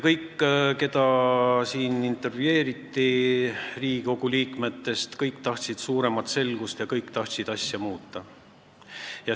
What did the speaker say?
Kõik, keda siin Riigikogu liikmetest intervjueeriti, tahtsid suuremat selgust ja kõik tahtsid asja muuta.